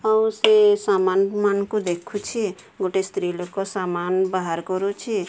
ଆଉ ସେ ସାମାନ ମାନଙ୍କୁ ଦେଖୁଛି ଗୋଟେ ସ୍ତ୍ରୀ ଲୋକୋ ସାମାନ ବାହାର୍ କରୁଛି।